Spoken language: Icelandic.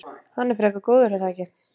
Hann er frekar góður er það ekki?